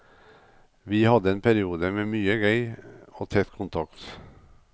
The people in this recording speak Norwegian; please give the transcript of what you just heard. Vi hadde en periode med mye gøy og tett kontakt.